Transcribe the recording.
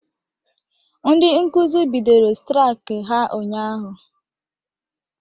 Ndị Nkụzi bidoro straik ha ụnyaahụ